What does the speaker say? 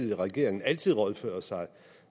vil regeringen altid rådføre sig